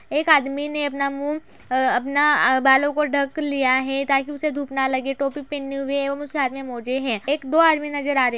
एक आदमी ने अपना मुँह अ अपना अ बालो को ढक लिया है ताकि उसे धुप ना लगे टोपी पहने हुए है और उसके हाथ में मोज़े है। एक दो आदमी नज़र आ रहे है।